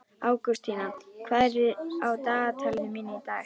Ágústína, hvað er á dagatalinu mínu í dag?